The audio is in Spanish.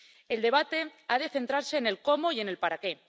El debate ha de centrarse en el cómo y en el para qué.